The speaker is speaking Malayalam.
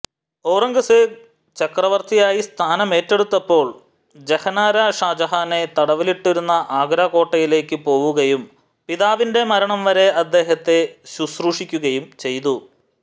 ഔറംഗസേബ് ചക്രവർത്തിയായി സ്ഥാനമേറ്റെടുത്തപ്പോൾ ജഹനാര ഷാജഹാനെ തടവിലിട്ടിരുന്ന ആഗ്ര കോട്ടയിലേക്കു പോവുകയും പിതാവിന്റെ മരണം വരെ അദ്ദേഹത്തെ ശുശ്രൂഷിക്കുകയും ചെയ്തു